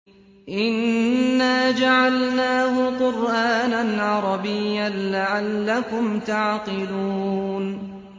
إِنَّا جَعَلْنَاهُ قُرْآنًا عَرَبِيًّا لَّعَلَّكُمْ تَعْقِلُونَ